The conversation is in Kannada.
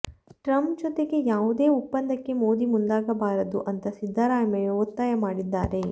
ಟ್ರಂಪ್ ಜೊತೆಗೆ ಯಾವುದೇ ಒಪ್ಪಂದಕ್ಕೆ ಮೋದಿ ಮುಂದಾಗಬಾರದು ಅಂತ ಸಿದ್ದರಾಮಯ್ಯ ಒತ್ತಾಯ ಮಾಡಿದ್ದಾರೆ